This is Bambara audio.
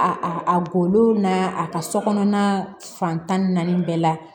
A a golo n'a a ka so kɔnɔna fan tan ni naani bɛɛ la